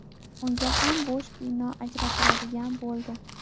Unga ham bo‘sh bino ajratiladigan bo‘ldi.